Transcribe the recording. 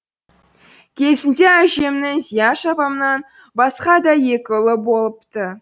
кезінде әжемнің зияш апамнан басқа да екі ұлы болыпты